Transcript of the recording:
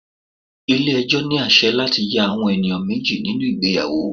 Ilé ẹjọ́ ní àsẹ̀ láti ya àwọn ènìyàn méjì nínú ìgbéyàwó.